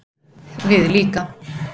Við líka